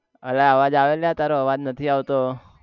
અલ્યા અવાજ આવે તારે અવાજ નથી આવતો